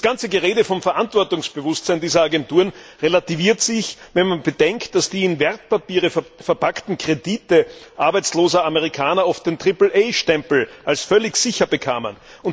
Das ganze Gerede vom Verantwortungsbewusstsein dieser Agenturen relativiert sich, wenn man bedenkt, dass die in Wertpapiere verpackten Kredite arbeitsloser Amerikaner oft den Triple A Stempel als völlig sicher bekamen.